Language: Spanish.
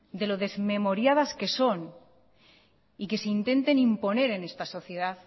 de lo desmemoriadas que son y que se intenten imponer en esta sociedad